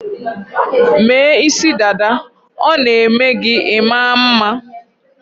Mee isidada, ọ na-eme gi ị̇ma mma